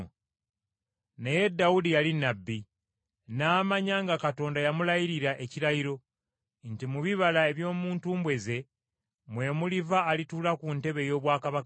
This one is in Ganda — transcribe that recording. Naye Dawudi yali nnabbi, n’amanya nga Katonda yamulayirira ekirayiro, nti mu bibala eby’omu ntumbwe ze mwe muliva alituula ku ntebe ey’obwakabaka bwe,